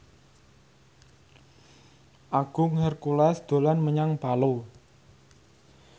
Agung Hercules dolan menyang Palu